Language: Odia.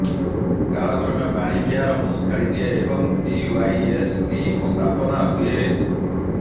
କାଳକ୍ରମେ ବାଣୀବିହାର ମୁଁ ଛାଡ଼ିଦିଏ ଏବଂ ସିୱାଇଏସ୍ଡି ସ୍ଥାପନା ହୁଏ